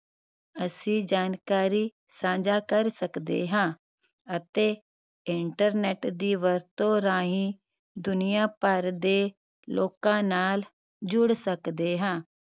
ਅਸੀਂ ਜਾਣਕਾਰੀ ਸਾਂਝਾ ਕਰ ਸਕਦੇ ਹਾਂ ਅਤੇ internet ਦੀ ਵਰਤੋਂ ਰਾਹੀਂ ਦੁਨੀਯਾ ਭਰ ਦੇ ਲੋਕ ਨਾਲ ਜੁੜ ਸਕਦੇ ਹਾਂ